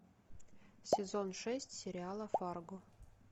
сезон шесть сериала фарго